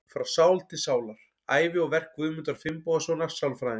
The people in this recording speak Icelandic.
Frá sál til sálar: Ævi og verk Guðmundar Finnbogasonar sálfræðings.